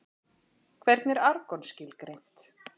Hvernig er argon skilgreint?